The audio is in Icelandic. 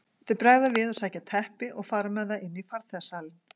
Þeir bregða við og sækja teppi og fara með það inn í farþegasalinn.